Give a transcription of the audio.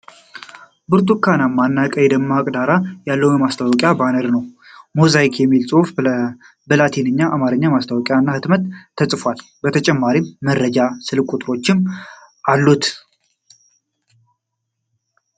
ብርቱካናማ እና ቀይ ደማቅ ዳራ ያለው የማስታወቂያ ባነር ነው። ሞዛይክ የሚል ጽሑፍ በላቲንና በአማርኛ (ማስታወቂያ እና ህትመት) ተጽፎበታል። ለተጨማሪ መረጃ የስልክ ቁጥሮችም አሉ።